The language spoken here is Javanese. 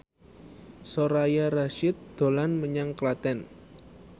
Soraya Rasyid dolan menyang Klaten